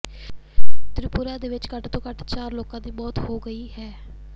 ਤ੍ਰਿਪੁਰਾ ਵਿੱਚ ਘੱਟ ਤੋਂ ਘੱਟ ਚਾਰ ਲੋਕਾਂ ਦੀ ਮੌਤ ਹੋ ਗਈ ਹੈ